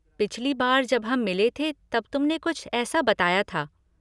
पिछली बार जब हम मिले थे तब तुमने कुछ ऐसा बताया था।